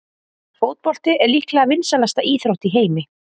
Fótbolti er líklega vinsælasta íþrótt í heimi.